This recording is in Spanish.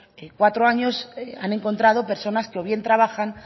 cuatro años han encontrado personas que o bien trabajan